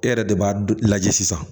E yɛrɛ de b'a lajɛ sisan